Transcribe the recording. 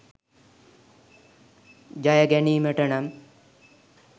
ජය ගැනීමට නම්